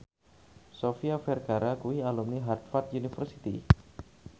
Sofia Vergara kuwi alumni Harvard university